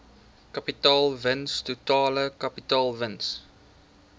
kapitaalwins totale kapitaalwins